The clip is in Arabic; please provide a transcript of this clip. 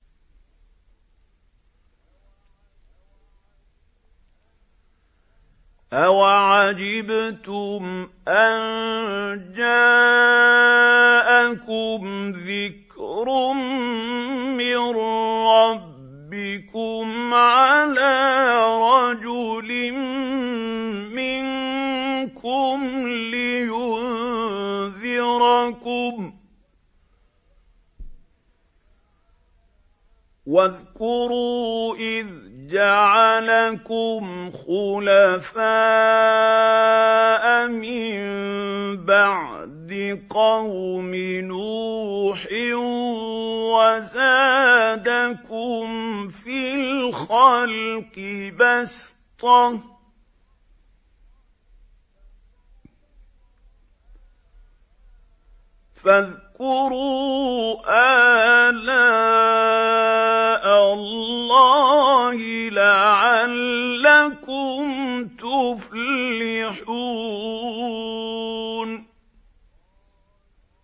أَوَعَجِبْتُمْ أَن جَاءَكُمْ ذِكْرٌ مِّن رَّبِّكُمْ عَلَىٰ رَجُلٍ مِّنكُمْ لِيُنذِرَكُمْ ۚ وَاذْكُرُوا إِذْ جَعَلَكُمْ خُلَفَاءَ مِن بَعْدِ قَوْمِ نُوحٍ وَزَادَكُمْ فِي الْخَلْقِ بَسْطَةً ۖ فَاذْكُرُوا آلَاءَ اللَّهِ لَعَلَّكُمْ تُفْلِحُونَ